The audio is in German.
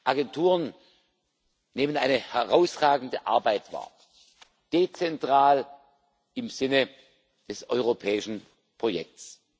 Agenturen nehmen eine herausragende Arbeit wahr dezentral im Sinne des europäischen Projekts.